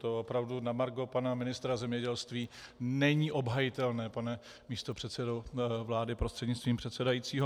To opravdu na margo pana ministra zemědělství není obhajitelné, pane místopředsedo vlády prostřednictvím předsedajícího.